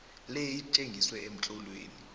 le itjengiswe emtlolweni